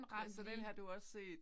Ja så den har du også set?